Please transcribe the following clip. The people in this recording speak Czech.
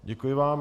Děkuji vám.